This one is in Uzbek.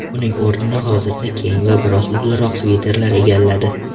Uning o‘rnini hozirda keng va biroz uzunroq sviterlar egalladi.